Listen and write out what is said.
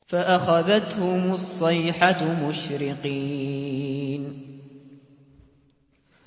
فَأَخَذَتْهُمُ الصَّيْحَةُ مُشْرِقِينَ